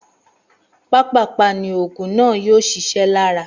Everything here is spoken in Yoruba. Pápàpá ni ògùn náà yóò sisé lára